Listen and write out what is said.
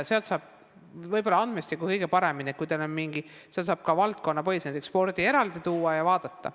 Sealt saab võib-olla andmestiku kõige paremini kätte, sealt saab andmed ka valdkonnapõhiselt, näiteks saab spordi eraldi välja võtta ja vaadata.